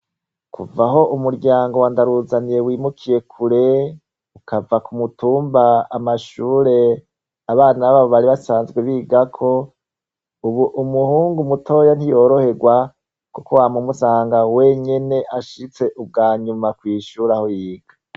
Kuvaho umuryango wandaruzaniye wimukiye kure ukava ku mutumba amashure abana babo bari basanzwe bigako, ubu umuhungu mutoya ntiyoroherwa, kuko wa mumusanga wenyene ashitse ubwa nyuma kwishuraho yiga.